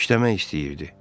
İşləmək istəyirdi.